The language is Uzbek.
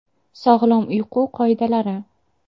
Sog‘lom uyqu qoidalari.